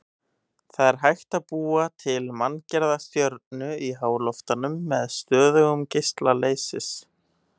Það er hægt að búa til manngerða stjörnu í háloftunum með stöðugum geisla leysis.